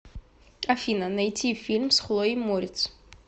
афина найти фильм с хлоей морец